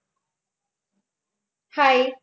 Hi